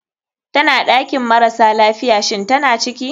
Tana ɗakin marasa lafiya, shinn tana ciki?